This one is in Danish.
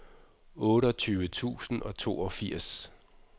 otteogtyve tusind og toogfirs